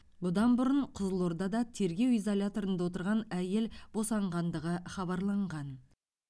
бұдан бұрын қызылордада тергеу изоляторында отырған әйел босанғанғандығы хабарланған